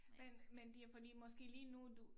Men men det er fordi måske lige nu du